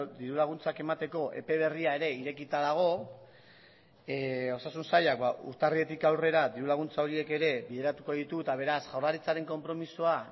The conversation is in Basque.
diru laguntzak emateko epe berria ere irekita dago osasun sailak urtarriletik aurrera diru laguntza horiek ere bideratuko ditu eta beraz jaurlaritzaren konpromisoa